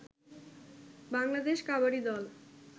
বাংলাদেশ কাবাডি দল